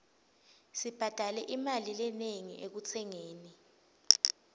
sibhadale imali lenengi ekutsengeni